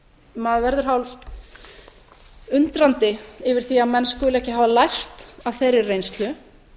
maður verður hálfundrandi yfir því að menn skuli ekki hafa lært af þeirri reynslu